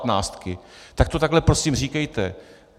Tak to takhle, prosím, říkejte.